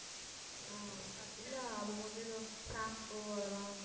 ஆஹ் இல்ல அவங்க வந்து எதுவும் shampoo அதெல்லாம்